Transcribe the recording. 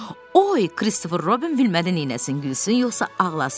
Oy, Kristofer Robin bilmədi neyləsin: gülsün, yoxsa ağlasın.